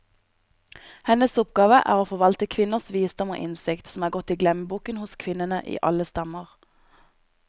Hennes oppgave er å forvalte kvinners visdom og innsikt, som er gått i glemmeboken hos kvinnene i alle stammer.